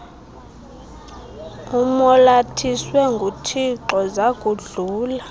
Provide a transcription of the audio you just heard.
umolathiswe nguthixo zakudlula